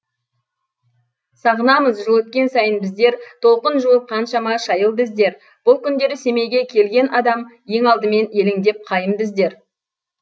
сағынамыз жыл өткен сайын біздер толқын жуып қаншама шайылды іздер бұл күндері семейге келген адам ең алдымен елеңдеп қайымды іздер